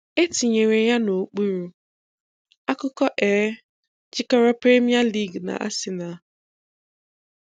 É tìnyèrè ya n'òkpúrù:Ákụ́kọ́, é jìkọ̀rọ̀ Prémíyá League nà arsenal